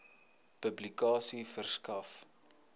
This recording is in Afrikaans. publikasie verskaf